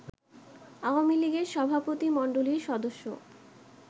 আওয়ামী লীগের সভাপতি মণ্ডলীর সদস্য